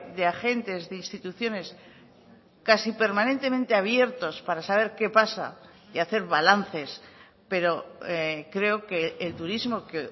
de agentes de instituciones casi permanentemente abiertos para saber qué pasa y hacer balances pero creo que el turismo que